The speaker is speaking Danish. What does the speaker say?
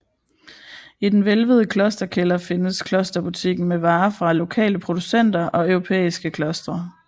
I den hvælvede klosterkælder findes klosterbutikken med varer fra lokale producenter og europæiske klostre